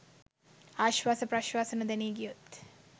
ආශ්වාස ප්‍රශ්වාස නොදැනී ගියොත්